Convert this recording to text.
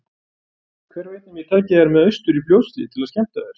Hver veit nema ég taki þær með austur í Fljótshlíð til að skemmta þér.